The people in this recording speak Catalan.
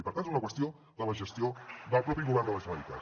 i per tant és una qüestió de la gestió del propi govern de la generalitat